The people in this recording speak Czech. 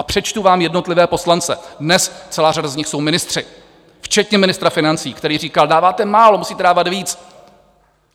A přečtu vám jednotlivé poslance, dnes celá řada z nich jsou ministři, včetně ministra financí, který říkal: Dáváte málo, musíte dávat víc.